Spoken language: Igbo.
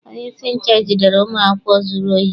Onyeisi nche jidere ụmụ akwụkwọ zụrụ ohi.